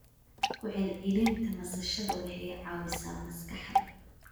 Ku celcelinta nasashada waxay caawisaa maskaxda.